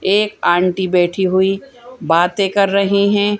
एक आंटी बैठी हुई बातें कर रही हैं।